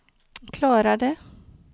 klarade